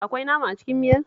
Akwai nama a cikin miyar?